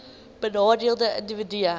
benadeelde individue hbis